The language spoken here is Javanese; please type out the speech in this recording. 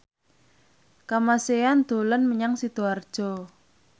Kamasean dolan menyang Sidoarjo